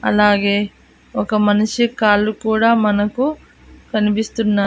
అలాగే ఒక మనిషి కాళ్ళు కూడా మనకు కనిపిస్తున్న--